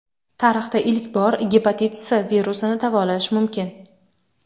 Tarixda ilk bor gepatit S virusini davolash mumkin.